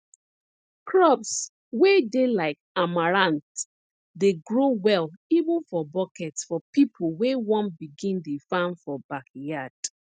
crops wey dey like amaranth dey grow well even for bucket for people wey wan begin dey farm for backyard